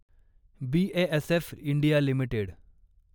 BASF India limited